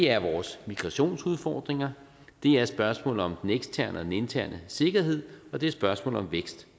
er vores migrationsudfordringer det er spørgsmålet om den eksterne og den interne sikkerhed og det er spørgsmålet om vækst